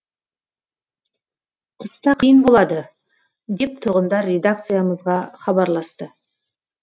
қыста қиын болады деп тұрғындар редакциямызға хабарласты